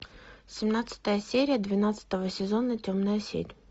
семнадцатая серия двенадцатого сезона темная сеть